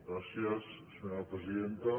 gràcies senyora presidenta